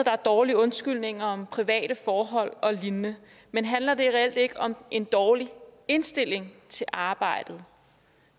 er dårlige undskyldninger om private forhold og lignende men handler det reelt ikke om en dårlig indstilling til arbejdet